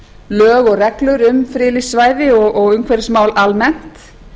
lög og reglur um friðlýst svæði og umhverfismál almennt